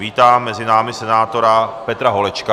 Vítám mezi námi senátora Petra Holečka.